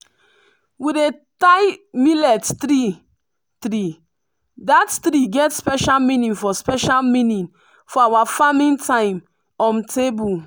we dey tie millet three-three that three get special meaning for special meaning for our farming time um table.